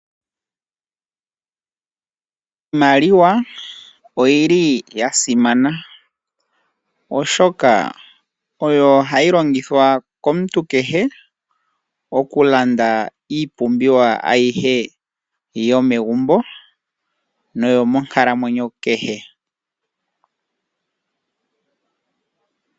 Iimaliwa oyili ya simana, oshoka oyo hayi longithwa komuntu kehe, okulanda iipumbiwa ayihe yomegumbo, noyo monkalamwenyo kehe.